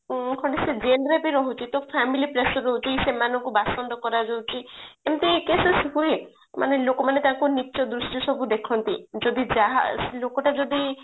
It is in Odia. ଖଣ୍ଡେ ସେ jail ରେ ବି ତ ରହୁଛି ତ ସେ family pressure ରହୁଛି ସେମାନଙ୍କୁ ବାସନ୍ଦ କରାଯାଉଛି ଏମିତି cases ହୁଏ ମାନେ ଲୋକମାନେ ସବୁ ନୀଚ ଦୃଷ୍ଟିରେ ସବୁ ଦେଖନ୍ତି ଯଦି ଯାହା ଲୋକ ଟା ଯଦି